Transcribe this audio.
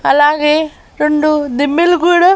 అలాగే రెండు దిమ్మెలు కూడా--